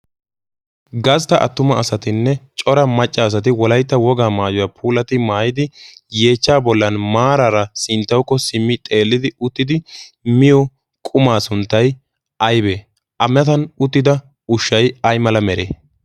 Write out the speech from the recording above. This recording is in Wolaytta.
gastta attuma asatinne cora maccaasati wolaytta wogaa maayuwaa puulati maayidi yeechcha bollan maaraara sinttawukko simmi xeellidi uttidi miyo qumaa sunttay aybee a metan uttida ushshay ay mala mere